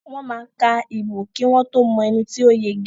Wọ́n máa ka ìbò kí wọ́n tó mọ ẹni to yege.